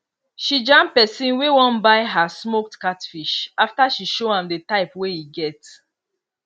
she jam pesin wey wan buy her smoked catfish after she show am di type wey e get